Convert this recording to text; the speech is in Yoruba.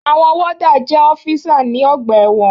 Àwọn wọ́dà jẹ́ ọ́físà ní ọgbà ẹ̀wọ̀n.